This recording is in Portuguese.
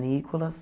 Nicolas.